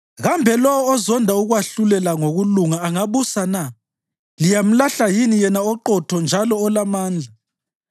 Kambe lowo ozonda ukwahlulela ngokulunga angabusa na? Liyamlahla yini Yena oqotho njalo olamandla?